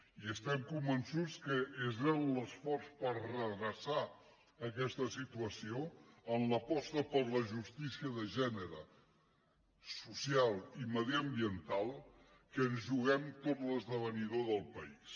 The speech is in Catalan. i estem convençuts que és en l’esforç per redreçar aquesta situació en l’aposta per la justícia de gènere social i mediambiental que ens juguem tot l’esdevenidor del país